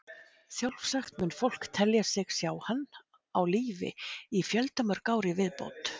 Sjálfsagt mun fólk telja sig sjá hann á lífi í fjöldamörg ár í viðbót.